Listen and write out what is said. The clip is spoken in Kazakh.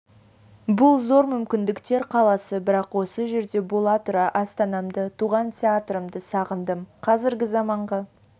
бұл зор мүмкіндіктер қаласы бірақ осы жерде бола тұра астанамды туған театрымды сағындым қазіргі заманғы